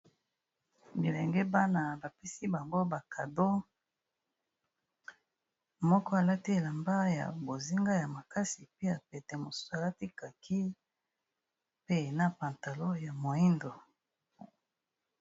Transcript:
Bilenge bana bapesi bango ba cadeau, moko alati elamba ya bozinga ya makasi pe ya pete mosusu alati kaki pe na pantalon ya moyindo.